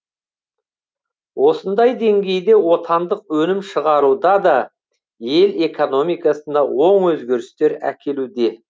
осындай деңгейде отандық өнім шығаруда да ел экономикасына оң өзгерістер әкелуде